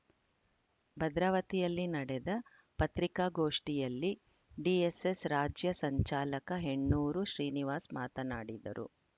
ಭದ್ರಾವತಿಯಲ್ಲಿ ನಡೆದ ಪತ್ರಿಕಾಗೋಷ್ಠಿಯಲ್ಲಿ ಡಿಎಸ್‌ಎಸ್‌ ರಾಜ್ಯ ಸಂಚಾಲಕ ಹೆಣ್ಣೂರು ಶ್ರೀನಿವಾಸ್‌ ಮಾತನಾಡಿದರು